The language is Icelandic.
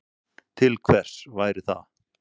Til hvers væri það?